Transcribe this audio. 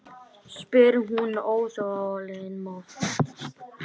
spyr hún óþolinmóð.